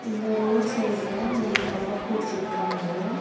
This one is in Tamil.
இந்த ரோட் சைடுல மூணு கட போட்டுருக்காங்க.